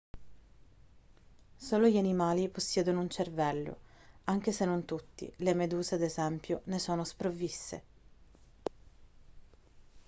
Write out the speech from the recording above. solo gli animali possiedono un cervello anche se non tutti: le meduse ad esempio ne sono sprovviste